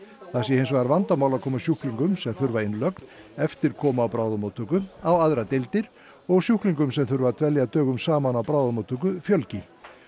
það sé hins vegar vandamál að koma sjúklingum sem þurfa innlögn eftir komu á bráðamóttöku á aðrar deildir og sjúklingum sem þurfa að dvelja dögum saman á bráðamóttöku fjölgi